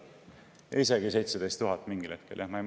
Isegi 17 000 mingil hetkel jah.